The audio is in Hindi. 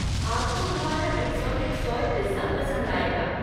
आपको हमारा एक्सोटिक सोय पिज्ज़ा पसंद आएगा।